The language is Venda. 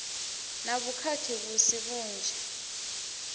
na vhukhakhi vhu si vhunzhi